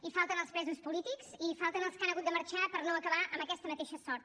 hi falten els presos polítics i hi falten els que han hagut de marxar per no acabar amb aquesta mateixa sort